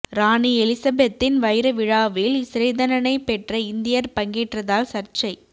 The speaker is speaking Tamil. ராணி எலிசபெத்தின் வைர விழாவில் சிறைத்தண்டனை பெற்ற இந்தியர் பங்கேற்றதால் சர்ச்சை